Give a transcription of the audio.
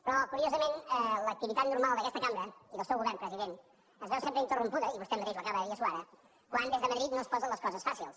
però curiosament l’activitat normal d’aquesta cambra i del seu govern president es veu sempre interrompuda i vostè mateix ho acaba de dir suara quan des de madrid no es posen les coses fàcils